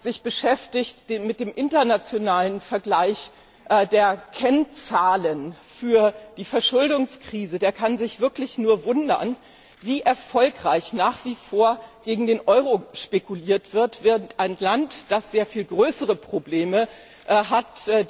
Wer sich mit dem internationalen Vergleich der Kennzahlen für die Verschuldungskrise beschäftigt, der kann sich wirklich nur wundern, wie erfolgreich nach wie vor gegen den Euro spekuliert wird, während ein Land, das sehr viel größere Probleme hat